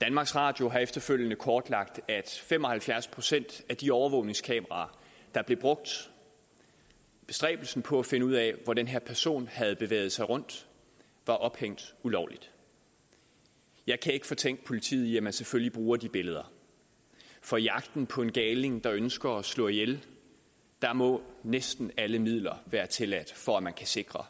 danmarks radio har efterfølgende kortlagt at fem og halvfjerds procent af de overvågningskameraer der blev brugt i bestræbelsen på at finde ud af hvor den her person havde bevæget sig rundt var ophængt ulovligt jeg kan ikke fortænke politiet i at man selvfølgelig bruger de billeder for i jagten på en galning der ønsker at slå ihjel må næsten alle midler være tilladt for at man kan sikre